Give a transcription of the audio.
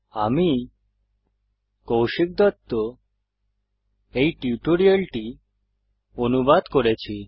আমি কৌশিক দত্ত এই টিউটোরিয়ালটি অনুবাদ করেছি